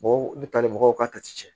u bɛ taali mɔgɔw ka cɛ